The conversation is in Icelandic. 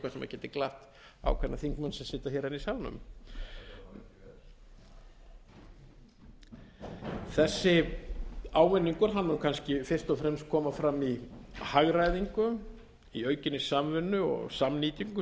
geti glatt ákveðna þingmenn sem sitja hér enn í salnum þessi ávinningur mun kannski fyrst og fremst koma fram í hagræðingu í aukinni samvinnu og samnýtingu